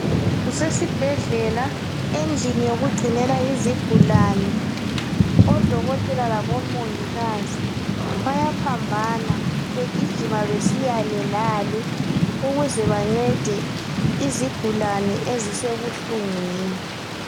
Kusesibhedlela, endlini yokugcinela izigulane. Odokotela labomongikazi bayaphambana begijima besiyale lale ukuze bancede izigulane ezisebuhlungwini.